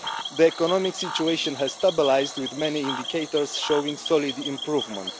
The economic situation has stabilised with many indicators showing solid improvement.